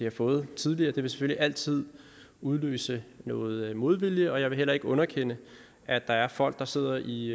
har fået tidligere det vil selvfølgelig altid udløse noget modvilje og jeg vil heller ikke underkende at der er folk der sidder i